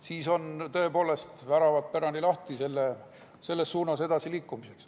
Siis on tõepoolest väravad pärani lahti selles suunas edasiliikumiseks.